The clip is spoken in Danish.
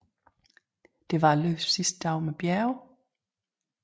Det var løbets sidste dag med bjerge